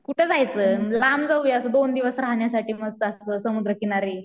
कुठं जायचं लांब जाऊया लांब जाऊया असं दोन दिवस राहण्यासाठी मस्त अस समुद्रकिनारी